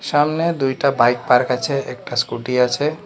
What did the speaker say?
সামনে দুইটা bike park আছে একটা স্কুটি আছে।